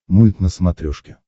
мульт на смотрешке